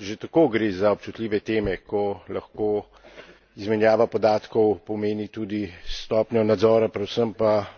Že tako gre za občutljive teme, ko lahko izmenjava podatkov pomeni tudi stopnjo nadzora, predvsem pa